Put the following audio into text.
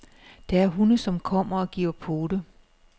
Der er hunde, som kommer og giver pote.